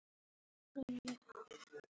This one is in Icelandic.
Vestur fylgir smátt.